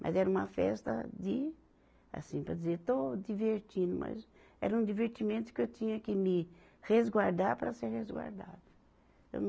Mas era uma festa de assim, para dizer, estou divertindo, mas era um divertimento que eu tinha que me resguardar para ser resguardada. eu